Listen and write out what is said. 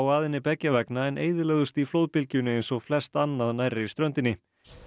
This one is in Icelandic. að henni beggja vegna en eyðilögðust í flóðbylgjunni eins og flest annað nærri ströndinni